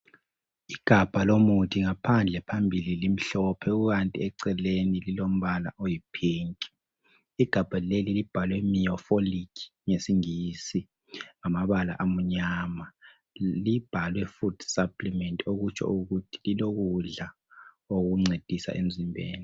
Igabha lomuthi ngaphandle phambili limhlophe kukanti eceleni lilombala oyiphinki. Igabha eli libhalwe(Miofolic)ngesingisi ngamabala amnyama libhalwe fudu saplimenti okutsho ukuthi lilokudla okuncedisa emzimbeni.